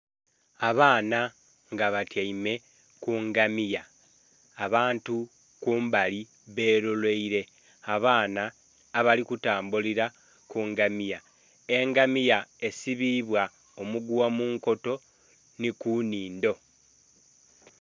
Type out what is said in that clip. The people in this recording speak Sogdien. Abaana nga batyaime ku ngamiya abantu kumbali beloleire abaana abali kutambulila ku ngamiya. Engamiya esibibwa omugugha mu nkoto nhi ku nhindho.